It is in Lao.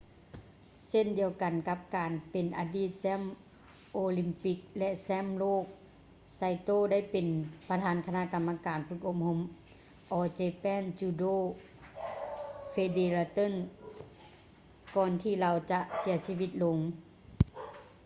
ເຊັ່ນດຽວກັນກັບການເປັນອະດີດແຊ້ມໂອລິມປິກ ແລະ ແຊ້ມໂລກ saito ໄດ້ເປັນປະທານຄະນະກຳມະການຝຶກອົບຮົມ all japan judo federation ກ່ອນທີ່ລາວຈະເສຍຊີວິດລົງ